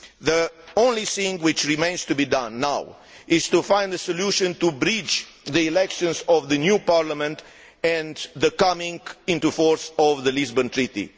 The only thing which remains to be done is to find a solution to bridge the elections to the new Parliament and the coming into force of the Lisbon Treaty.